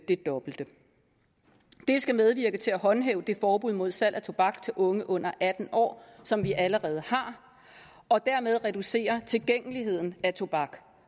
det dobbelte det skal medvirke til at håndhæve det forbud mod salg af tobak til unge under atten år som vi allerede har og dermed reducere tilgængeligheden af tobak